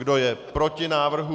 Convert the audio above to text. Kdo je proti návrhu?